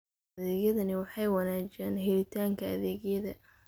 Adeegyadani waxay wanaajiyaan helitaanka adeegyada.